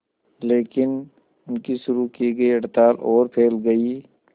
लेकिन उनकी शुरू की गई हड़ताल और फैल गई